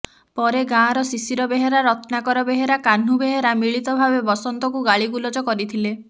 ପରେ ଗାଁର ଶିଶିର ବେହେରା ରତ୍ନାକର ବେହେରା କାହ୍ନୁ ବେହେରା ମିଳିତ ଭାବେ ବସନ୍ତଙ୍କୁ ଗାଳିଗୁଲଜ କରିଥିଲେ